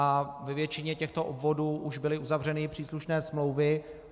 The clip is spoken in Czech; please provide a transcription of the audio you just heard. A ve většině těchto obvodů už byly uzavřeny příslušné smlouvy.